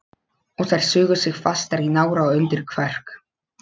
Og þær sugu sig fastar í nára og undir kverk.